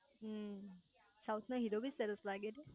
હમ્મ south ના hero બી સરસ લાગે છે